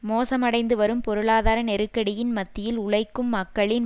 மோசமடைந்துவரும் பொருளாதார நெருக்கடியின் மத்தியில் உழைக்கும் மக்களின்